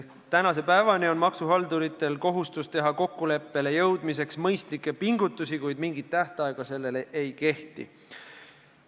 Praegu kehtib maksuhalduritel kohustus teha kokkuleppele jõudmiseks mõistlikke pingutusi, kuid mingit tähtaega ei ole sätestatud.